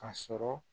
Ka sɔrɔ